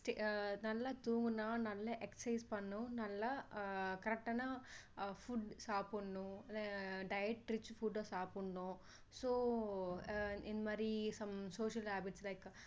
அஹ் நல்லா தூங்குனா நல்லா exercise பண்ணணும் நல்லா அஹ் correct டான food சாப்பிடணும் அஹ் diet rich food ட சாப்பிடணும் so அஹ் இந்த மாதிரி some social habits like